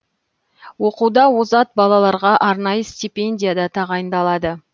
оқуда озат балаларға арнайы стипендия да тағайындалады